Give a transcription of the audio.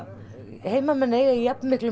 heimamenn eiga í jafnmiklum